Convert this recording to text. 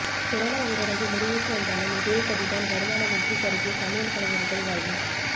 corona ஊரடங்கு முடிவுக்கு வந்தாலும் இதே கதிதான் வருமானமின்றி கருகிய சமையல் கலைஞர்கள் வாழ்வு